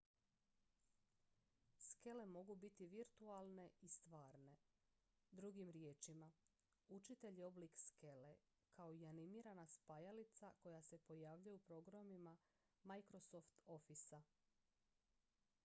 skele mogu biti virtualne i stvarne drugim riječima učitelj je oblik skele kao i animirana spajalica koja se pojavljuje u programima microsoft officea